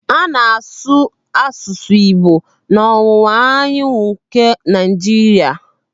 A na-asụ asụsụ Igbo n'ọwụwa anyanwụ nke Naịjiria.